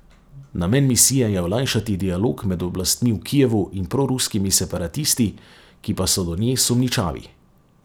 Namen misije je olajšati dialog med oblastmi v Kijevu in proruskimi separatisti, ki pa so do nje sumničavi.